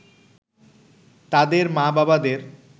তাদের মা-বাবাদের